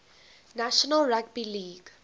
national rugby league